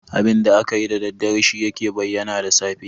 Abinda akayi da daddare shi yake bayyana da safe.